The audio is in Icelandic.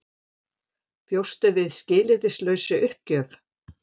Bjóstu við skilyrðislausri uppgjöf?